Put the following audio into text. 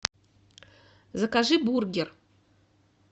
закажи бургер